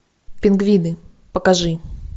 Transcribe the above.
пингвины покажи